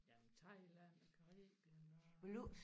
Jamen Thailand og Caribien og